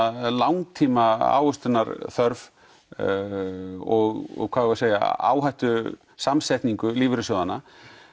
langtíma ávöxtunarþörf og hvað eigum við að segja áhættu samsetningu lífeyrissjóðanna